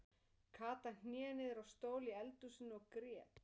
Kata hné niður á stól í eldhúsinu og grét.